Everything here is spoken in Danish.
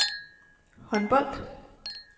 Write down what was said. håndbold